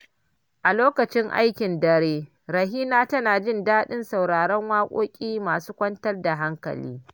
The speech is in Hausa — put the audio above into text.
A lokacin aikin dare, Rahina tana jin daɗin sauraron waƙoƙi masu kwantar da hankali.